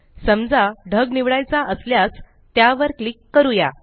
समजा ढग निवडायचा असल्यास त्यावर क्लिक करूया